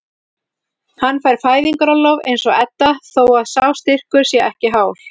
Hann fær fæðingarorlof eins og Edda þó að sá styrkur sé ekki hár.